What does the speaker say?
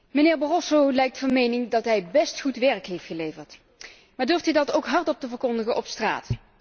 Mijnheer Barroso lijkt van mening dat hij best goed werk heeft geleverd, maar durft hij dat ook hardop te verkondigen op straat?